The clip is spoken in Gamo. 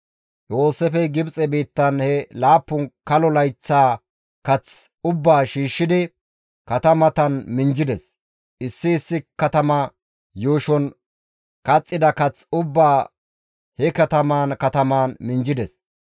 Yooseefey Gibxe biittan he laappun kalo layththaa kath ubbaa shiishshidi katamatan minjjides. Issi issi katamata yuushon kaxxida kath ubbaa he kataman kataman minjjides.